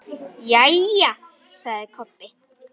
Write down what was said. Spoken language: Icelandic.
Jæja, sagði Kobbi.